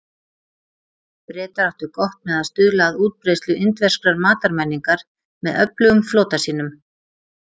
Bretar áttu gott með að stuðla að útbreiðslu indverskrar matarmenningar með öflugum flota sínum.